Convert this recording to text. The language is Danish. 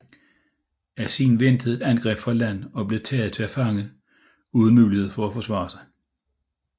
Asin ventede et angreb fra land og blev taget til fange uden mulighed for at forsvare sig